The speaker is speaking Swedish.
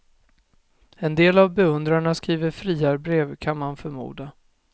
En del av beundrarna skriver friarbrev, kan man förmoda.